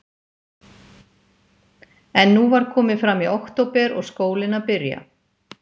En nú var komið fram í október og skólinn að byrja.